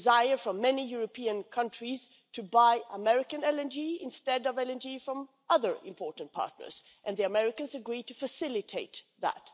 is a desire for many European countries to buy American LNG instead of LNG from other important partners and the Americans agreed to facilitate that.